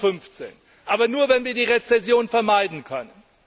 2015. Aber nur wenn wir die Rezession vermeiden können.